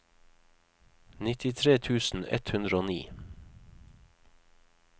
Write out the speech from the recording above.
nittitre tusen ett hundre og ni